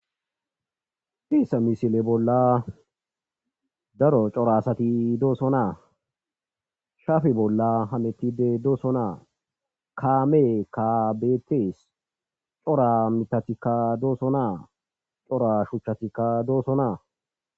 teesa misile bolla daro corasati dooso naa shafe bolla hametide dooso naa kaamee ka betees cora mitatikka dooso naa cora shuchchatikka dooso naa